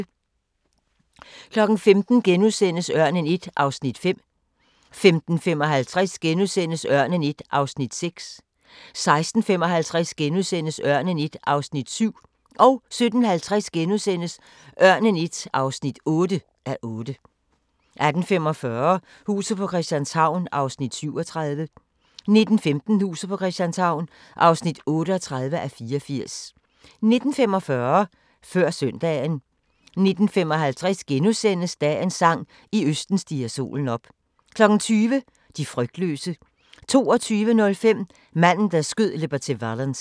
15:00: Ørnen I (5:8)* 15:55: Ørnen I (6:8)* 16:55: Ørnen I (7:8)* 17:50: Ørnen I (8:8)* 18:45: Huset på Christianshavn (37:84) 19:15: Huset på Christianshavn (38:84) 19:45: Før Søndagen 19:55: Dagens sang: I østen stiger solen op * 20:00: De frygtløse 22:05: Manden, der skød Liberty Valance